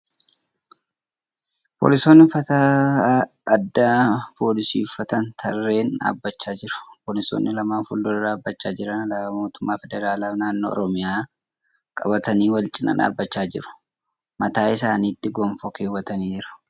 Poolisoonni uffata addaa poolisii uffatanii tarreen dhaabachaa jiru. Poolisoonni lamaan fuuldura dhaabachaa jiran alaabaa mootummaa federaalaa fi naannoo Oromiyaa qabatanii wal cinaa dhaabbachaa jiru . Mataa isaanitti gonfoo keewwatanii jiru.